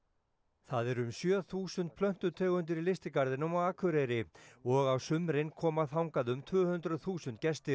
það eru um sjö þúsund plöntutegundir í lystigarðinum á Akureyri og á sumrin koma þangað um tvö hundruð þúsund gestir